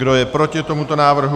Kdo je proti tomuto návrhu?